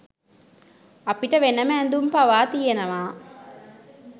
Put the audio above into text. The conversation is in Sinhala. අපිට වෙනම ඇඳුම් පවා තියෙනවා.